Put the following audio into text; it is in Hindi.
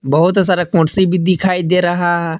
बहुत सारा कुर्सी भी दिखाई दे रहा--